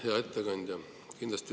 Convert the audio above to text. Hea ettekandja!